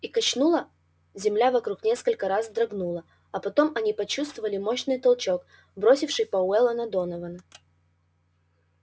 их качнуло земля вокруг несколько раз вздрогнула а потом они почувствовали мощный толчок бросивший пауэлла на донована